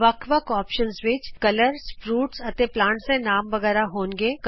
ਅੱਲਗ ਅੱਲਗ ਵਿਕਲਪਾਂ ਵਿਚ ਰੰਗਾਂ ਫਲਾਂ ਦੇ ਪੋਧਿਆਂ ਦੇ ਨਾਮ ਵਗੈਰਹ ਹੋਣਗੇ